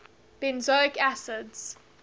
benzoic acids